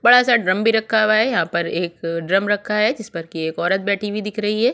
बड़ा-सा ड्रम भी रखा हुआ है यहाँ पर एक ड्रम रखा है जिस पर की एक औरत बैठी हुई दिख रही है ।